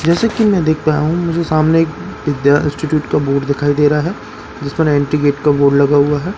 जैसे कि मैं देख पाया हूं मुझे सामने एक विद्या इंस्टिट्यूट का बोर्ड दिखाई दे रहा है जिस पर एंटी गेट का बोर्ड लगा हुआ है।